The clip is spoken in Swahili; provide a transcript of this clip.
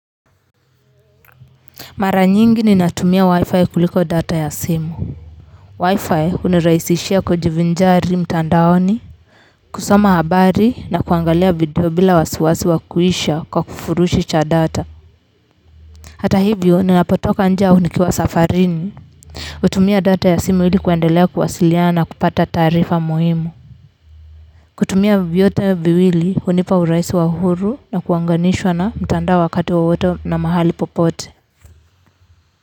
Mara nyingi ninatumia wi-fi kuliko data ya simu. Wi-Fi hurahisishia kujivinjari mtandaoni, kusoma habari na kuangalia video bila wasiwasi wa kuisha kwa kifurushi cha data. Hata hivyo, ninapotoka nje au nikiwa safarini. Kutumia data ya simu ili kuendelea kuwasiliana na kupata taarifa muhimu. Kutumia vyote viwili, hunipa urahisi wa uhuru na kuunishwa na mtandao mahali popote na wakati wowote.